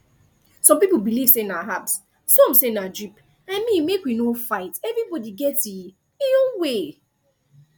some people believe say na herbs some say na drip i mean make we no fight everybody get e e own way